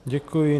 Děkuji.